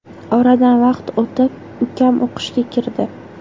Oradan vaqt o‘tib, ukam o‘qishga kirdi.